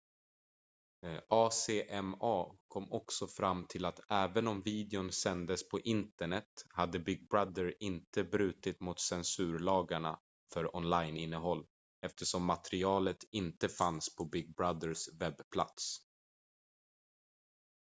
acma kom också fram till att även om videon sändes på internet hade big brother inte brutit mot censurlagarna för onlineinnehåll eftersom materialet inte fanns på big brothers webbplats